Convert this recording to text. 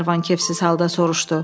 Qlenarvan kefsiz halda soruşdu.